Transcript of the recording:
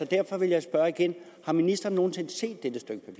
derfor vil jeg spørge igen har ministeren nogen sinde set